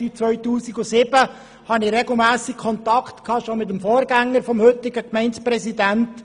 Seit 2007 habe ich regelmässige Kontakte, auch bereits mit dem Vorgänger des heutigen Gemeindepräsidenten.